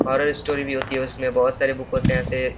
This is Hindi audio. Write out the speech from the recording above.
हॉरर स्टोरी भी होती है। उसमें बहुत सारे बुक होते है। ऐसे --